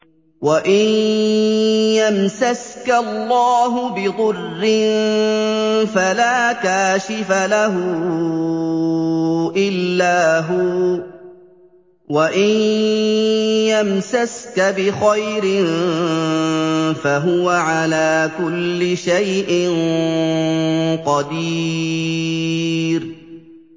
وَإِن يَمْسَسْكَ اللَّهُ بِضُرٍّ فَلَا كَاشِفَ لَهُ إِلَّا هُوَ ۖ وَإِن يَمْسَسْكَ بِخَيْرٍ فَهُوَ عَلَىٰ كُلِّ شَيْءٍ قَدِيرٌ